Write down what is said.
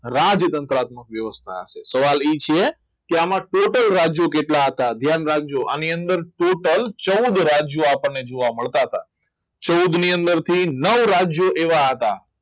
રાજતંત્ર આખું આત્મક વ્યવસ્થા સવલી છે કે આમાં ટોટલ રાજ્ય કેટલા હતા ધ્યાન રાખજો આની અંદર total ચૌદ રાજ્યો આપણને જોવા મળતા હતા ચૌદ ની અંદર થી નવ રાજ્યો એવા હતા